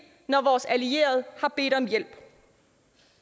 når vores allierede har bedt om hjælp